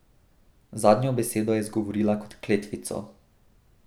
Zadnjo besedo je izgovorila kot kletvico.